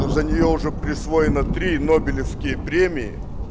ну за нее уже присвоено три нобелевской премии